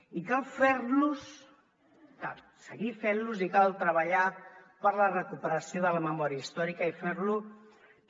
i cal fer los cal seguir fent los i cal treballar per la recuperació de la memòria històrica i fer lo també